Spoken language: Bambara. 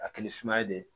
A kɛli sumaya de ye